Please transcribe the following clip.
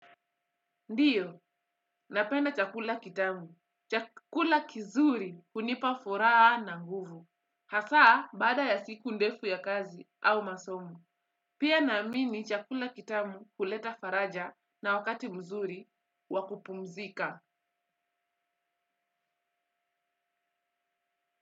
Ndiyo, napenda chakula kitamu. Chakula kizuri hunipa furaha na nguvu. Hasa baada ya siku ndefu ya kazi au masomo. Pia naamini chakula kitamu huleta faraja na wakati mzuri wa kupumzika.